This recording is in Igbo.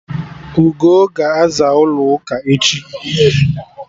Ugoo ga-aza ụlọ ụka echi